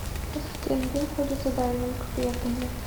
ассистент где находится дайвинг при отеле